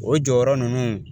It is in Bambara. O jɔyɔrɔ nunnu